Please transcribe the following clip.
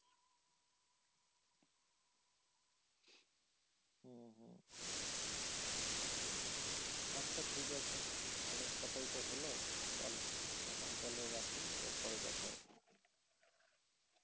আচ্ছা ঠিক আছে অনেক কথা ই তো হলো চল এখন তাহলে রাখি আবার পরে কথা হবে